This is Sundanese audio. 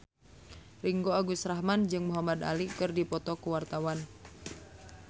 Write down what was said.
Ringgo Agus Rahman jeung Muhamad Ali keur dipoto ku wartawan